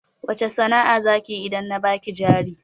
Wace sana'a zakiyi idan na baki jari